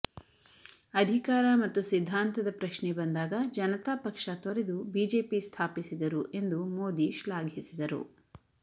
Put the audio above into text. ಅಧಿಕಾರ ಮತ್ತು ಸಿದ್ಧಾಂತದ ಪ್ರಶ್ನೆ ಬಂದಾಗ ಜನತಾ ಪಕ್ಷ ತೊರೆದು ಬಿಜೆಪಿ ಸ್ಥಾಪಿಸಿದರು ಎಂದು ಮೋದಿ ಶ್ಲಾಘಿಸಿದರು